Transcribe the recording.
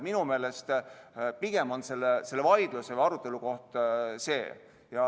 Minu meelest on vaidluse või arutelu koht pigem see.